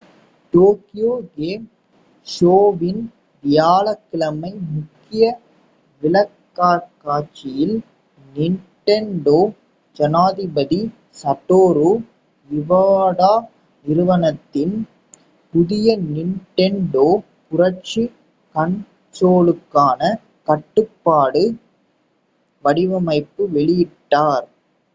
Tokyo game ஷோவின் வியாழக்கிழமை முக்கிய விளக்கக்காட்சியில் நிண்டெண்டோ ஜனாதிபதி சடோரு இவாடா நிறுவனத்தின் புதிய நிண்டெண்டோ புரட்சி கன்சோலுக்கான கட்டுப்பாட்டு வடிவமைப்பை வெளியிட்டார்